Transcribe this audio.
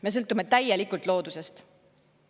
Me sõltume täielikult loodusest.